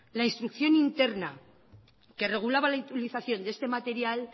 la instrucción interna que regulaba la utilización de este material